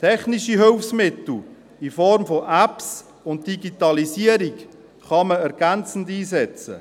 Technische Hilfsmittel in Form von Apps und Digitalisierung kann man ergänzend einsetzen.